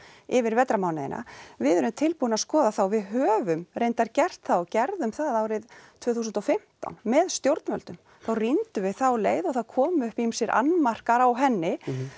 yfir vetrarmánuðina við erum tilbúin að skoða það og við höfum reyndar gert það og gerðum það árið tvö þúsund og fimmtán með stjórnvöldum þá rýndum við þá leið og það komu upp ýmsir annmarkar á henni